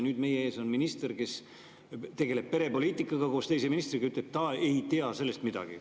Nüüd on meie ees minister, kes koos teise ministriga tegeleb perepoliitikaga, ja ütleb, et ta ei tea sellest midagi.